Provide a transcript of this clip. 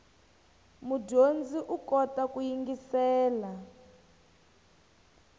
mudyondzi u kota ku yingiselela